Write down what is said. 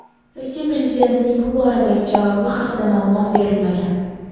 Rossiya prezidentining bu boradagi javobi haqida ma’lumot berilmagan.